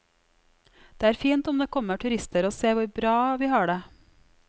Det er fint om det kommer turister og ser hvor bra vi har det.